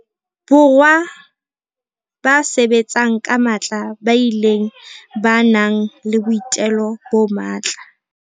Borwa ba sebetsang ka matla ba bileng ba nang le boitelo bo matla.